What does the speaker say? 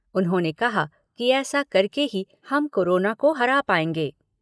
उन्होंने कहा कि ऐसा करके ही हम कोरोना को हरा पाएंगे।